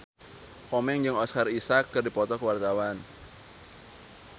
Komeng jeung Oscar Isaac keur dipoto ku wartawan